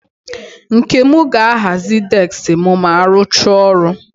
Nkem ga-ahazi deski m ma arụchaa ọrụ.